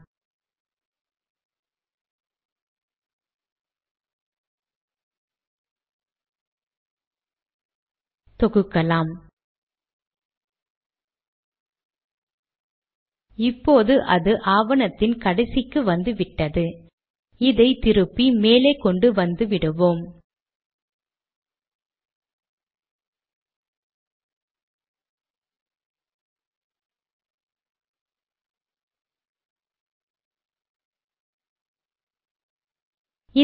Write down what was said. தேதி போய் விட்டது நாமே தேதியை குறிக்க வேண்டுமென்றால் நாம் பின் வருமாறு பதியலாம்